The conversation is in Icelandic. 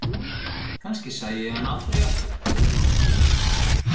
Kannski sæi ég hann aldrei aftur?